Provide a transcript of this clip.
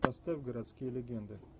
поставь городские легенды